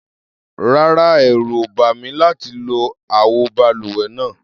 Rárá, ẹ̀rù ò bà mí láti lo àwo balùwẹ̀ náà.